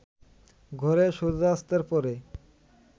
ঘরে সূর্যাস্তের পরে